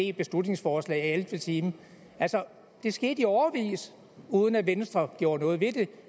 et beslutningsforslag i ellevte time det skete i årevis uden at venstre gjorde noget ved det